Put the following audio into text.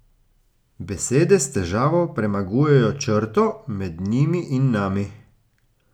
Besede s težavo premagujejo črto med njimi in nami.